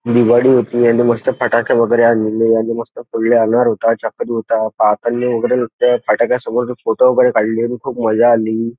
दिवाळी होती आणि मस्त फटाके वैगेरे आणलेले आणि मस्त फोडले अनार होता चक्री होता फटाक्या समोर फोटो वैगेरे काढले आणि खुप मजा आली.